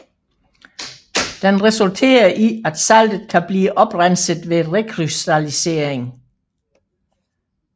Den resulterer i at saltet kan blive oprenset ved rekrystallisering